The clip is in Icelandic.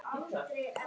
TALAÐU VARLEGA